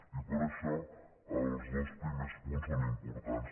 i per això els dos primers punts són importants